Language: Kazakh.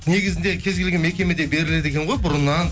негізінде кез келген мекемеде беріледі екен ғой бұрыннан